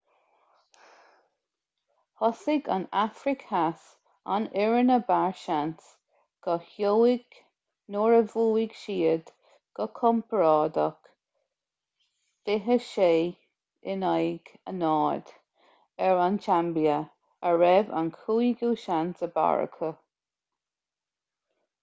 thosaigh an afraic theas an fhoireann ab fhearr seans go seoighe nuair a bhuaigh siad go compordach 26 - 00 ar an tsaimbia a raibh an cúigiú seans ab fhearr acu